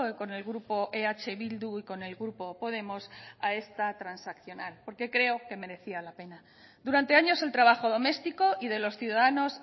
con el grupo eh bildu y con el grupo podemos a esta transaccional porque creo que merecía la pena durante años el trabajo doméstico y de los ciudadanos